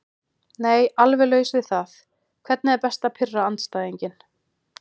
Nei alveg laus við það Hvernig er best að pirra andstæðinginn?